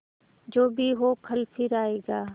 जो भी हो कल फिर आएगा